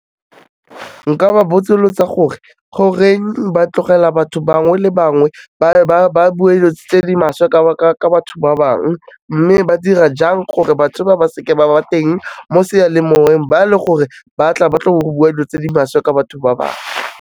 Nka ba botsolotsa gore, goreng ba tlogela batho bangwe le bangwe, ba bue dilo tse di maswe ka batho ba bangwe mme ba dira jang gore batho ba, ba seke ba ba teng mo sealemoyeng ba le gore ba tlo bua dilo tse di maswe ka batho ba bangwe.